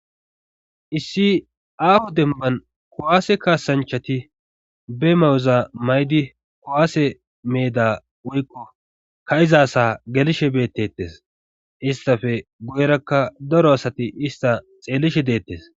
issi aafo demban kowaase kaasanchati be mayuza maydi kowaase meeda woykko ka7izasa gelishe beettettes istafe goyrakka daro asati ista xeelishe deettes